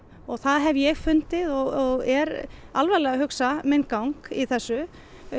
það hef ég fundið og er alvarlega að hugsa minn gang í þessu